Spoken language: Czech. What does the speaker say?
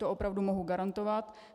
To opravdu mohu garantovat.